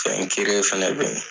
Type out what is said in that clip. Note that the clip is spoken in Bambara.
fana bɛ yen.